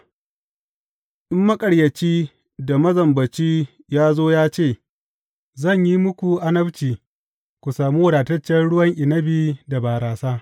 In maƙaryaci da mazambaci ya zo ya ce, Zan yi muku annabci ku sami wadataccen ruwan inabi da barasa,’